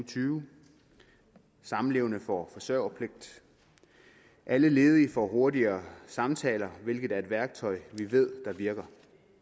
tyve samlevende får forsørgerpligt og alle ledige får hurtigere samtaler hvilket er et værktøj vi ved virker